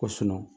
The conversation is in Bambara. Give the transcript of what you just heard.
Ko